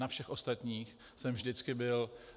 Na všech ostatních jsem vždycky byl.